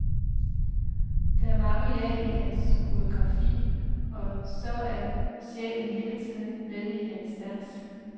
Der er mange lag i hans koreografi, og så er sjælen hele tiden med i hans dans.